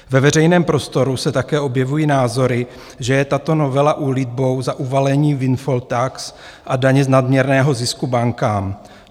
Ve veřejném prostoru se také objevují názory, že je tato novela úlitbou za uvalení windfall tax a daně z nadměrného zisku bankám.